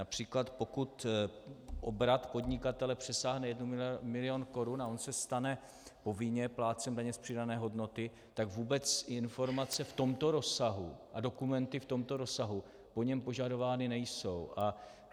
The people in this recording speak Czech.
Například pokud obrat podnikatele přesáhne jeden milion korun a on se stane povinně plátcem daně z přidané hodnoty, tak vůbec informace v tomto rozsahu a dokumenty v tomto rozsahu po něm požadovány nejsou.